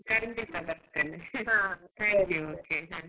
ಖಂಡಿತ ಬರ್ತೇನೆ. thank you, okay, bye .